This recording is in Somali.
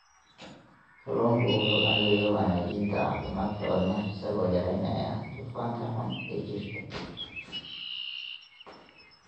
Kalluunku wuxuu caawiyaa wanaajinta caafimaadka wadnaha isagoo yareynaya dufanka xun ee jirka.